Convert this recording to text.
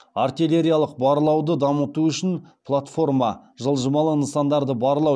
артиллериялық барлауды дамыту үшін платформа жылжымалы нысандарды барлау